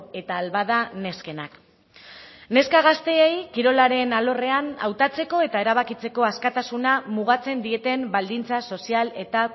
eta ahal bada neskenak neska gazteei kirolaren alorrean hautatzeko eta erabakitzeko askatasuna mugatzen dieten baldintza sozial eta